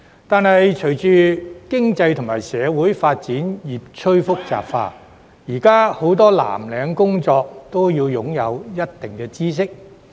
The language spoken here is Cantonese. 但是，隨着經濟及社會發展越趨複雜，現時很多藍領工作均須擁有一定知識。